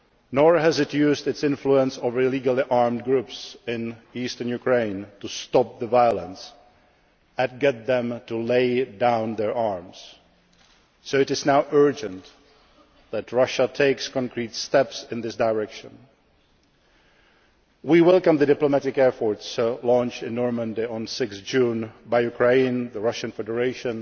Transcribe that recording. nor has it used its influence over illegally armed groups in eastern Ukraine to stop the violence and get them to lay down their arms So it is now urgent that Russia takes concrete steps in this direction. We welcome the diplomatic efforts launched in Normandy on 6 June by Ukraine, the Russian Federation,